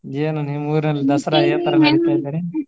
ಏನ್ ನಿಮ್ಮ ಊರಲ್ಲಿ ದಸರಾ